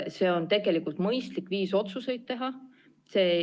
See on tegelikult mõistlik viis otsuseid teha.